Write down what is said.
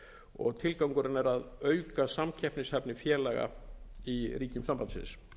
og tilgangurinn er að auka samkeppnishæfni félaga í ríkjum sambandsins